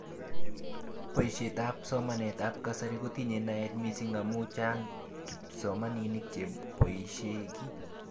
Boishet ab somanet ab kasari kotinye naet mising amu chang kipsomaninik cheboishe kii.